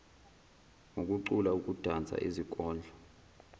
ngokucula ukudansa izikondlo